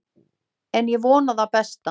En ég vona það besta.